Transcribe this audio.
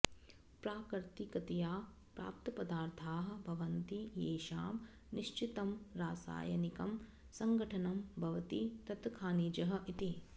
प्राकृतिकतया प्राप्तपदार्थाः भवन्ति येषां निश्चितं रासायनिकं संघटनं भवति तत् खानिजः इति